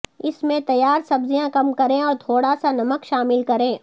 اس میں تیار سبزیاں کم کریں اور تھوڑا سا نمک شامل کریں